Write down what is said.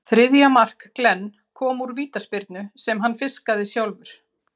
Þriðja mark Glenn kom úr vítaspyrnu sem hann fiskaði sjálfur.